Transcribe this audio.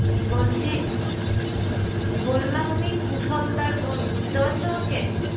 বলছি। বললাম আমি কুশলদার বোন। বুঝতে পারছো আমাকে?